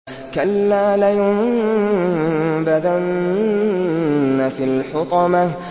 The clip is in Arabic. كَلَّا ۖ لَيُنبَذَنَّ فِي الْحُطَمَةِ